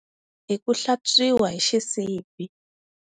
Hi ku hlatswiwa hi xisibi.